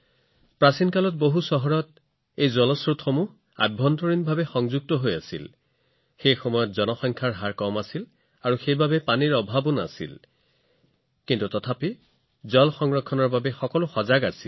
প্ৰাচীন কালত বহুতো চহৰত পানীৰ উৎসৰ এক আন্তঃসংযোগ প্ৰণালী আছিল আৰু সেই সময়ত জনসংখ্যা অধিক নাছিল প্ৰাকৃতিক সম্পদৰ কোনো অভাৱ নাছিল এক প্ৰকাৰে প্ৰচুৰ পৰিমাণে আছিল তথাপিও সেই সময়ত পানী সংৰক্ষণৰ বিষয়ে সজাগতা যথেষ্ট বেছি আছিল